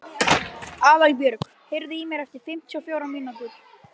Aðalbjörg, heyrðu í mér eftir fimmtíu og fjórar mínútur.